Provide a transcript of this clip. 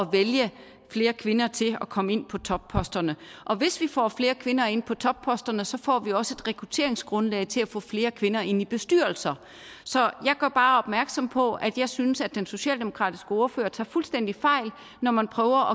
vælge flere kvinder til at komme ind på topposterne og hvis vi får flere kvinder ind på topposterne så får vi også et rekrutteringsgrundlag til at få flere kvinder ind i bestyrelser så jeg gør bare opmærksom på at jeg synes at den socialdemokratiske ordfører tager fuldstændig fejl når man prøver